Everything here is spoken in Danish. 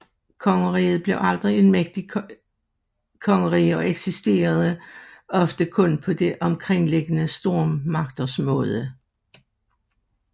Kongeriget blev aldrig en mægtig kongerige og eksisterede ofte kun på de omkringliggende stormagters nåde